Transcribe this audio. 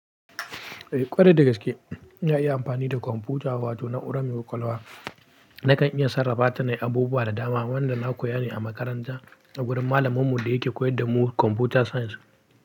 Eh ƙwarai da gaske na iya amfani da kwamfuta wato na urame kwalba. Nakan iya sarrafa ta na abubuwa da dama wanda na koya ne a makaranta a gurin malaminmu da yake koyar da mu Computer Science.